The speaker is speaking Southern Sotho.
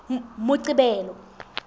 moqebelo